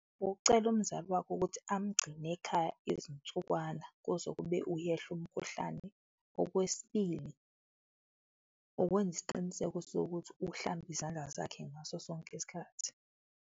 Ukucela umzali wakho ukuthi amgcine ekhaya izinsukwana, kuzokube uyehla umkhuhlane. Okwesibili, ukwenza isiqiniseko sokuthi uhlamba izandla zakhe ngaso sonke isikhathi.